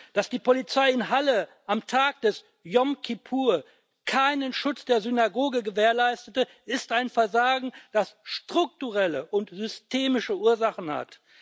Dass die Polizei in Halle am Tag des Jom Kippur keinen Schutz der Synagoge gewährleistete, ist ein Versagen, das strukturelle und systemische Ursachen hat.